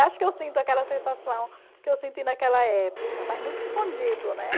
Acho que eu sinto aquela sensação que eu senti naquela época, mas muito escondido, né?